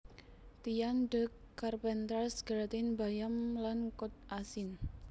Tian de Carpentras gratin bayam lan kod asin